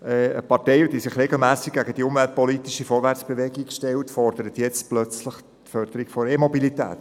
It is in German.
Eine Partei, die sich regelmässig gegen die umweltpolitische Vorwärtsbewegung stellt, fordert jetzt plötzlich die Förderung der E-Mobilität.